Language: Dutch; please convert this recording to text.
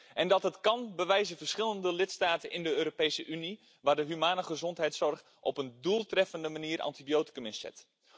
En dat dat kan, bewijzen verschillende lidstaten in de Europese Unie, waar de menselijke gezondheidszorg op een doeltreffende manier antibioticum inzet.